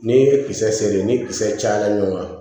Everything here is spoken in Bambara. N'i ye kisɛ seere ni kisɛ cayara ɲɔgɔn kan